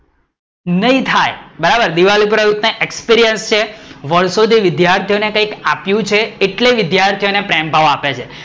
નઈ થાય બરાબર, દીવાપુરા એટલો experaince છે વર્ષો થી વિદ્યાર્થીઓ ને કંઈક આપીયુ છે એટલે વિદ્યાર્થીઓ ને પ્રેમભાવ આપ્યા છે